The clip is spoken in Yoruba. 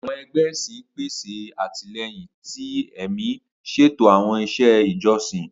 Awọn ẹgbẹ ẹsin pese atilẹyin ti ẹmi, ṣeto awọn iṣẹ ijọsin.